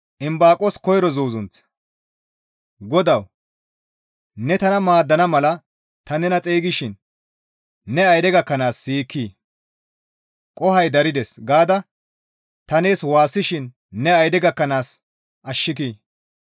GODAWU! Ne tana maaddana mala ta nena xeygishin ne ayde gakkanaas siyikkii? «Qohoy darides» gaada ta waassishin ne ayde gakkanaas ashshikii?